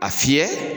A fiyɛ